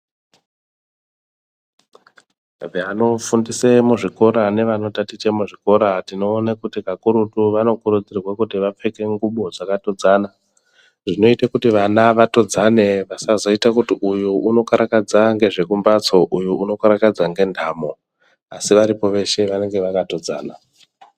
Vanofundise muzvikora nevanotatiche muzvikora tinoone kuti kakurutu vanokurudzirwa kuti vapfeke ngubo dzakatodzana. Zvinoite kuti vana vatodzane pasazoite kuti uyu unokarakadza ngezvekumbatso uyu unokarakadze ngendamo. Asi varipo veshe vanenge vakatodzana.